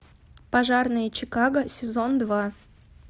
пожарные чикаго сезон два